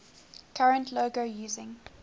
current logo using